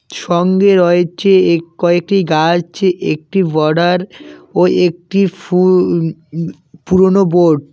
সঙ্গে রয়েছে এক কয়েকটি গাছ একটি বর্ডার ও একটি ফুউল উ পুরোনো বোর্ড ।